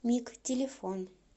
миг телефон